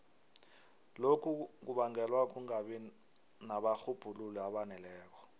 lokhu kubangelwa kungabi nabarhubhululi abaneleko